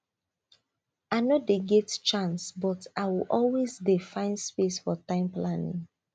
i no dey get chance but i will always dey find space for time planning